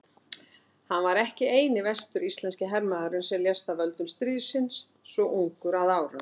Hann var ekki eini vestur-íslenski hermaðurinn sem lést af völdum stríðsins svo ungur að árum.